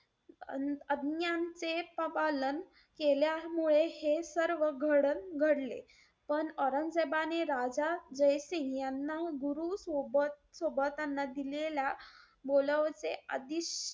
अं आज्ञांचे पा~ पालन केल्यामुळे हे सर्व घडन~ घडले. पण औरंगजेबाने राजा जयसिंग यांना गुरु सोबत सोबतीनं दिलेल्या बोलाव